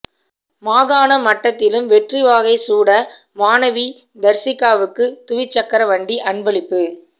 மாகாண மட்டத்திலும் வெற்றிவாகை சூட மாணவி தர்சிகாவுக்கு துவிச்சக்கர வண்டி அன்பளிப்பு